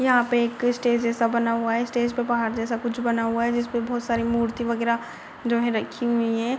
यहाँ पे एक स्टेज जैसा बना हुआ है । स्टेज पे पहाड़ जैसा कुछ बना हुआ है । जिस पे बहुत सारी मूर्ति वगेरा जो है रखी हुई हैं ।